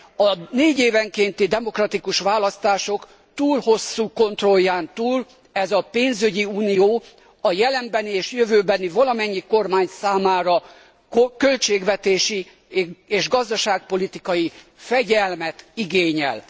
A négyévenkénti demokratikus választások túl hosszú kontrolján túl ez a pénzügyi unió a jelenbeli és jövőbeni valamennyi kormánytól költségvetési és gazdaságpolitikai fegyelmet igényel.